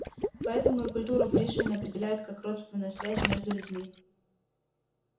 поэтому и культуру пришвин определяет как родственную связь между людьми